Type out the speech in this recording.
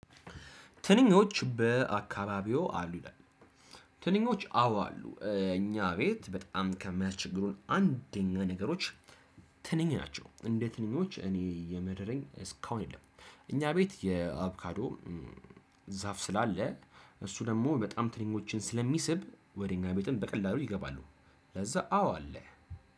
ትንኞች በአካባቢው አሉ ይላል ትንኞች አዎ አሉ እኛ ቤት በጣም ከሚያስቸግሩን አንደኛ ነገሮች ትንኝ ናቸው። እንደ ትንኞች እኔ የመረረኝ እስከአሁን የለም እኛ ቤት የአቮካዶ ዛፍ ስላለ እሱ ደግሞ ትንኞችን በጣም ስለሚስብ ወደ እኛ ቤትም በቀላሉ ይገባሉ። ለዛ አዎ አለ።